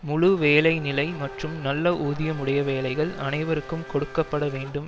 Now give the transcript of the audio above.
முழு வேலை நிலை மற்றும் நல்ல ஊதியமுடைய வேலைகள் அனைவருக்கும் கொடுக்க பட வேண்டும்